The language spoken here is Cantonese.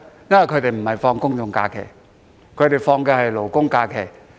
因為他們並不享有公眾假期，只享有勞工假期。